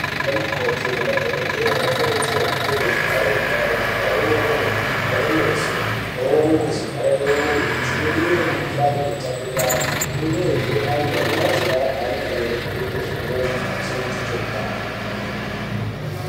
Anamukoti ngemadhogodheya anokurudzirwa kupfeke zvivhare nyare, zvivhare muromo, ngezvivhare meso pamweni ngezvivhare mwiiri, kudzivirire mikuhlani inotapuriranwa. Uyezve antu anenge achirapwa anofanira kupfeke zvimwezvo zvinochengetedze utano kwemene.